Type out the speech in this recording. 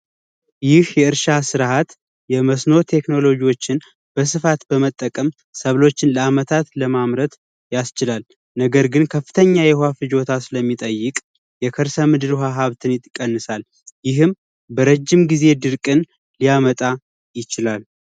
ይህ የእርሻ ስርዓት የመስኖ ቴክኖሎጂዎችን በስፋት በመጠቀም ሰብሎችን ለዓመታት ለማምረት ያስችላል ነገር ግን ከፍተኛ የውሃ ፍጆታ ስለሚጠይቅ የከርሰ ምድር ውሃ ሀብት ሊቀንሳል ይህም ለረጅም ጊዜ ድርቅን ሊያመጣ ይችላል።